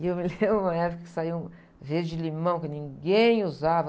E eu me lembro uma época que saiu um verde limão que ninguém usava.